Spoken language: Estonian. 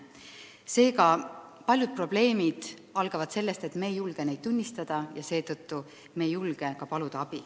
Seega, paljud probleemid algavad sellest, et me ei julge neid tunnistada ega seetõttu ka abi paluda.